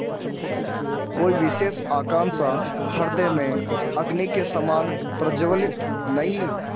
कोई विशेष आकांक्षा हृदय में अग्नि के समान प्रज्वलित नहीं